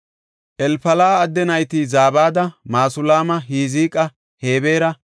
Elfala7a adde nayti Zabada, Masulaama, Hizqa, Hebeera,